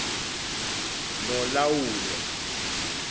nolawulo